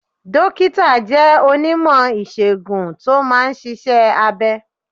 Dókítà jẹ́ onímọ̀ ìsègùn tó máa ń ṣiṣẹ́ abẹ